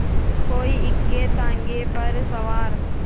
कोई इक्केताँगे पर सवार